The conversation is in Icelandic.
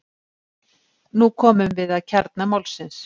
Nú komum við að kjarna málsins.